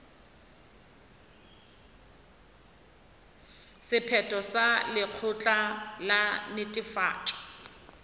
sephetho sa lekgotla la netefatšo